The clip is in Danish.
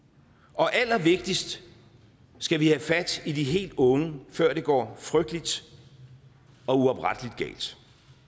og allervigtigst skal vi have fat i de helt unge før det går frygteligt og uopretteligt galt